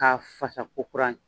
K'a fasa ko kurani